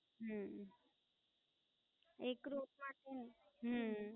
હમમમ. એક Rut માટે, હમમમ